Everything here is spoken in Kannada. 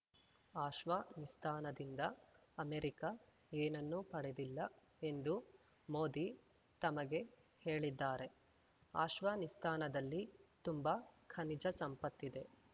ಆಶ್ವಾನಿಸ್ತಾನದಿಂದ ಅಮೆರಿಕ ಏನನ್ನೂ ಪಡೆದಿಲ್ಲ ಎಂದು ಮೋದಿ ತಮಗೆ ಹೇಳಿದ್ದಾರೆ ಆಶ್ವಾನಿಸ್ತಾನದಲ್ಲಿ ತುಂಬಾ ಖನಿಜ ಸಂಪತ್ತಿದೆ